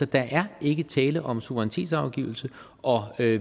der er ikke tale om suverænitetsafgivelse og